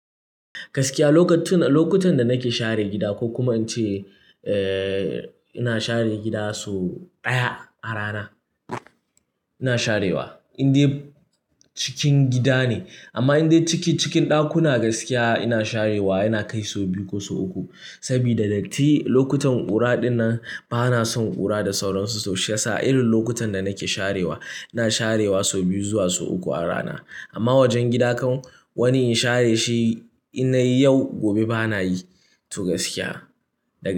Gaskiya lokacin-lokutan da nake share gida ko kuma in ce, eh, ina share gida so ɗaya a rana ina sharewa in dai cikin gida ne. Amma in dai ciki cikin ɗakuna gaskiya ina sharewa yana kai so biyu ko so uku. Sabida dattii lokutan ƙura dinnan bana son ƙura da sauransu so shiyasa irin lokutan da nake sharewa ina sharewa sau biyu zuwa sau uku a rana. Amma wajen gida kan wani in share shi innayi yau gobe bana yi to gaskiya. Daga-